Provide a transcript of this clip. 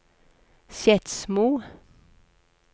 Skedsmo